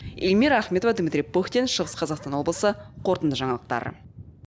эльмира ахметова дмитрий пыхтин шығыс қазақстан облысы қорытынды жаңалықтар